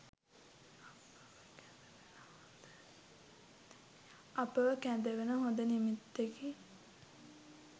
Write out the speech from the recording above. අපව කැඳවන හොඳ නිමිත්තකි.